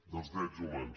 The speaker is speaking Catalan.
dels drets humans